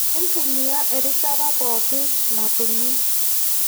Intumia erishata pooki natumi